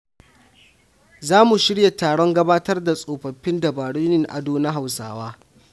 Za mu shirya taron gabatar da tsofaffin dabarun yin ado na Hausawa.